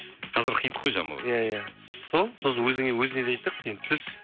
қазір хит қой жанболат иә иә сол сосын өзіне де айттық сен түс